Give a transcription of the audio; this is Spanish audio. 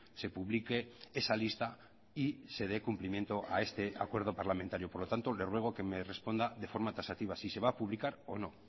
se publique esa lista y se dé cumplimiento a ese acuerdo parlamentario por lo tanto le ruego que me responda de forma taxativa si se va a publicar o no